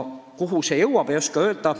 Kuhu see jõuab, ei oska öelda.